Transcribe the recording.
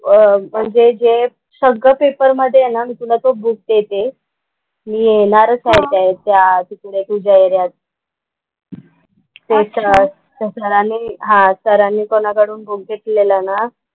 म्हणजे जे सगळं पेपरमध्ये आहे ना मी तुला तो बुक देते. मी येणारच आहे त्या तिकडे तुझ्या एरियात. त्याच्यात त्या सरांनी हां सरांनी कोणाकडून बुक घेतलेला ना,